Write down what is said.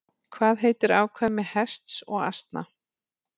Hvað heitir afkvæmi hests og asna?